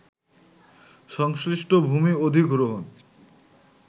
সংশ্লিষ্ট ভূমি অধিগ্রহণ